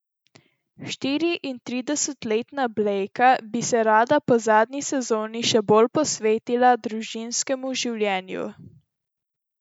Štiriintridesetletna Blejka bi se rada po zadnji sezoni še bolj posvetila družinskemu življenju.